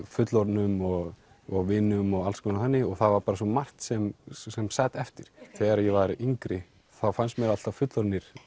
fullorðnum og og vinum og alls konar þannig það var bara svo margt sem sem sat eftir þegar ég var yngri þá fannst mér alltaf fullorðnir